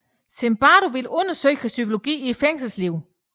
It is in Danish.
Zimbardo ville undersøge psykologien i fængselslivet